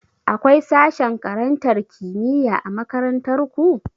Akwai sashen karantar kimiyya a makarantar ku?